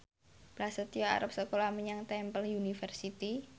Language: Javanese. Prasetyo arep sekolah menyang Temple University